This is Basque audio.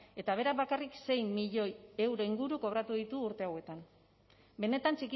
eta berak bakarrik sei milioi euro inguru kobratu ditu urte hauetan benetan